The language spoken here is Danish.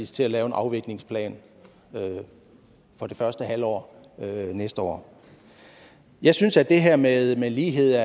til at lave en afviklingsplan for det første halvår af næste år jeg synes at det her med med lighed